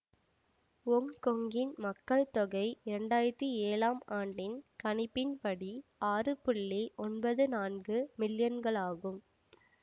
ஒங்கொங்கின் மக்கள் தொகை இரண்டு ஆயிரத்தி ஏழாம் ஆண்டின் கணிப்பின் படி ஆறு தொன்னூற்தி நான்கு மில்லியன்களாகும்